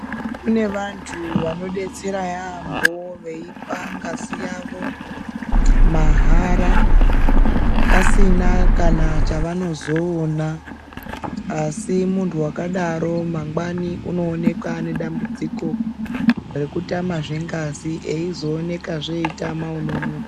Kune vantu vanodetsera yaambo veipa ngazi yavo mahara pasina kana chavanozoona, asi muntu wakadaro mangwani unooneka ane dambudziko rekutamazve ngazi eizoonekazve eyitama unomupa.